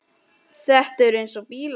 Þetta er eins og bílar.